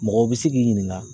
Mɔgɔw be se k'i ɲininka